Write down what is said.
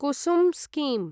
Kusum scheme